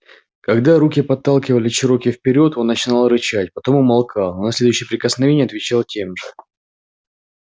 когда руки подталкивали чероки вперёд он начинал рычать потом умолкал но на следующее прикосновение отвечал тем же